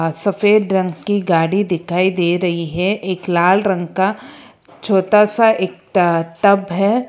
सफेद रंग की गाड़ी दिखाई दे रही है एक लाल रंग का छोटा सा एक ट टब है।